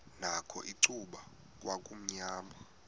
nakho icuba kwakumnyama